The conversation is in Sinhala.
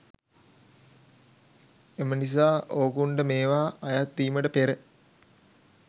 එම නිසා ඕකුන්ට මේවා අයත් වීමට පෙර